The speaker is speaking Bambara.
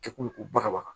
Kɛkulu ko bagabaga